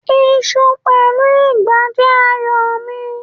Iṣu pẹ̀lú ìgbá jẹ́ ààyò mi.